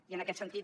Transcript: i en aquest sentit